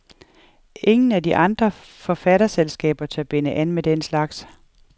Ingen af de andre forfatterselskaber tør binde an med den slags.